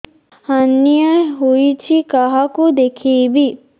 hernia ହୋଇଛି କାହାକୁ ଦେଖେଇବି